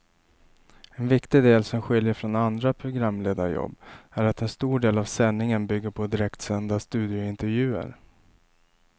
En viktig del som skiljer från andra programledarjobb är att en stor del av sändningen bygger på direktsända studiointervjuer.